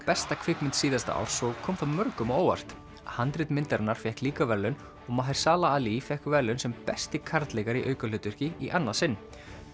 besta kvikmynd síðasta árs og kom það mörgum á óvart handrit myndarinnar fékk líka verðlaun og ali fékk verðlaun sem besti karlleikari í aukahlutverki í annað sinn